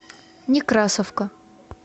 некрасовка